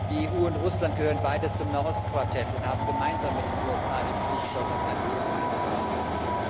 Die EU und Russland gehören beide zum Nahost Quartett und haben gemeinsam mit den USA die Pflicht, dort auf eine Lösung hinzuarbeiten.